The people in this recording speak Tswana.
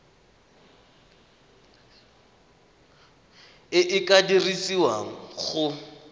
e e ka dirisiwang go